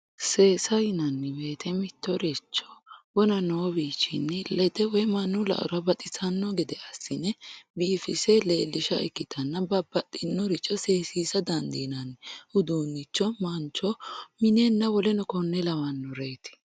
seesa yinanni woyiite mittoricho wona noo wiichinni lede woy mannu la"ora baxisanno gede assine biifise leellisha ikkitanna babbaxxinnoricho seesiisa dandiinanni uduunnicho mancho minenna woleno konne lawannoreeti.